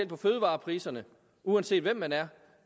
på fødevarepriserne uanset hvem man er